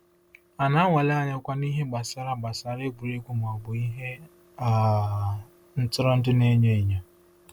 A na-anwale anyịkwa n’ihe gbasara gbasara egwuregwu ma ọ bụ ihe um ntụrụndụ na-enyo enyo?